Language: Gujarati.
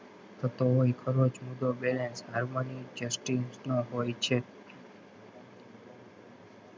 થતો હોય ખરો જુદો બેહે harmony justice નો હોય છે.